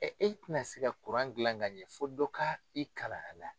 Ɛ e ti na se ka gilan ka ɲɛ fo dɔ ka i kalan a la.